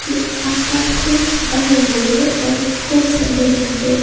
के आसपास खूब ज्यादा हरियाली है और खूब सारे लोग यहां पे--